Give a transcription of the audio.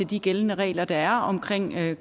de gældende regler der er om